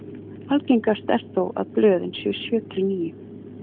Algengast er þó að blöðin séu sjö til níu.